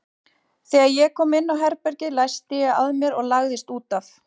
Þegar ég kom inn á herbergið læsti ég að mér og lagðist út af.